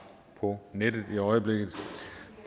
på nettet i øjeblikket